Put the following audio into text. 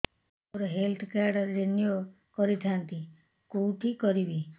ମୋର health card renew କରିଥାନ୍ତି କୋଉଠି କରିବି